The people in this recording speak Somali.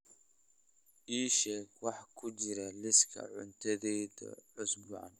ii sheeg waxa ku jira liiska cuntadayda usbuucan